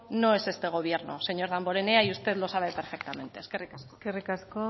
no es este gobierno señor damborenea y usted lo sabe perfectamente eskerrik asko eskerrik asko